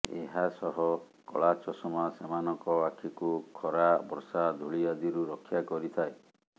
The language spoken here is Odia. ଏହା ସହ କଳାଚଷମା ସେମାନଙ୍କ ଆଖିକୁ ଖରା ବର୍ଷା ଧୂଳି ଆଦିରୁ ରକ୍ଷା କରିଥାଏ